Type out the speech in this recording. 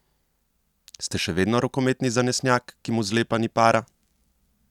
Ste še vedno rokometni zanesenjak, ki mu zlepa ni para?